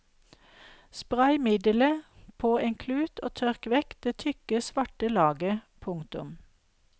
Spray middelet på en klut og tørk vekk det tykke svarte laget. punktum